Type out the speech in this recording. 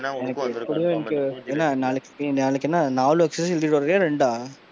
நாளைக்கு நாளைக்கு என்ன நாலு observation எழுதிட்டு வர்றியா ரெண்டா?